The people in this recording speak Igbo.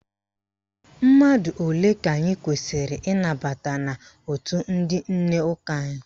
Mmadụ ole ka anyị kwesiri ịnabata n'òtù ndị nne ụka anyị?